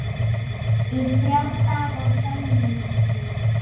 Í þrjá daga hömumst við.